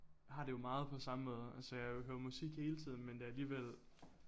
Har det jo meget på samme måde altså jeg jo høre musik hele tiden men det alligevel